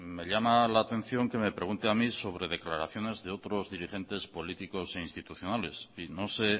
me llama la atención que me pregunte a mí sobre declaraciones de otros dirigentes políticos e institucionales y no sé